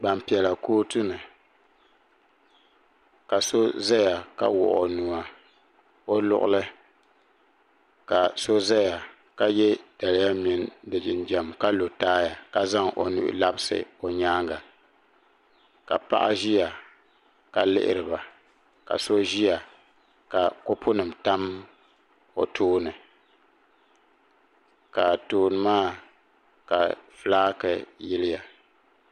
Gbampiɛla kootu ni ka so zaya ka wuɣi o nua o luɣili ka so zaya ka ye daliya mini di jinjam ka lo taaya ka zaŋ o nuhi labisi o nyaaŋa ka paɣa ʒiya ka lihiri ba ka so ʒiya ka kopunima tam o tooni ka tooni maa ka fulaaki yiliya.